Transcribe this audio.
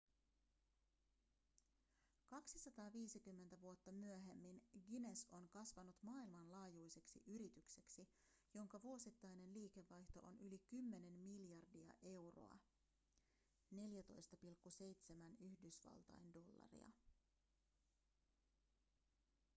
250 vuotta myöhemmin guinness on kasvanut maailmanlaajuiseksi yritykseksi jonka vuosittainen liikevaihto on yli 10 miljardia euroa 14,7 yhdysvaltain dollaria